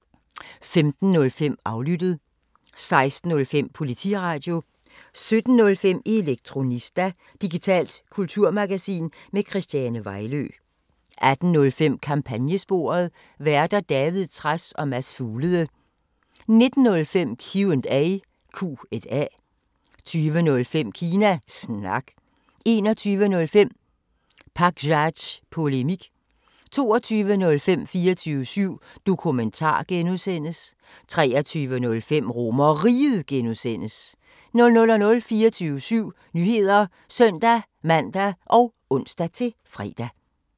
15:05: Aflyttet 16:05: Politiradio 17:05: Elektronista – digitalt kulturmagasin med Christiane Vejlø 18:05: Kampagnesporet: Værter: David Trads og Mads Fuglede 19:05: Q&A 20:05: Kina Snak 21:05: Pakzads Polemik 22:05: 24syv Dokumentar (G) 23:05: RomerRiget (G) 00:00: 24syv Nyheder (søn-man og ons-fre)